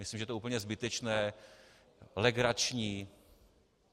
Myslím, že je to úplně zbytečné, legrační.